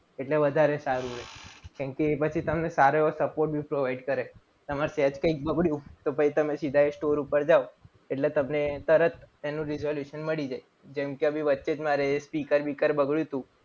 એટલે વધારે સારું રહે. કેમકે તમને સારો એવો support બી provide કરે. તમારે સેજ કઈક બગડ્યું. તો તમે પછી સીધા એ store ઉપર જાવ. એટલે તમને તરત એનું resolution મળી જાય. જેમ કે અભી વચ્ચે જ મારે સ્પીકર કર બગડ્યું હતું.